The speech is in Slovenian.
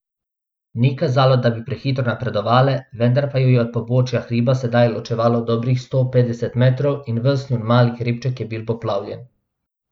Ni kazalo, da bi prehitro napredovale, vendar pa ju je od pobočja hriba sedaj ločevalo dobrih sto petdeset metrov, in ves njun mali hribček je bil poplavljen.